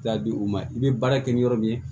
T'a di u ma i bɛ baara kɛ ni yɔrɔ min ye